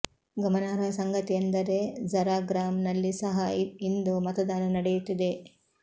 ಗಮನಾರ್ಹ ಸಂಗತಿ ಎಂದರೆ ಝರಾಗ್ರಾಮ್ ನಲ್ಲಿ ಸಹ ಇಂದು ಮತದಾನ ನಡೆಯುತ್ತಿದೆ